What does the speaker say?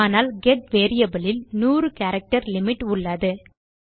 ஆனால் get variable இல் நூறு கேரக்டர் லிமிட் உள்ளது